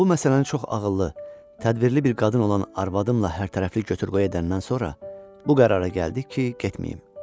Amma bu məsələni çox ağıllı, tədbirli bir qadın olan arvadımla hərtərəfli götür-qoy edəndən sonra bu qərara gəldik ki, getməyim.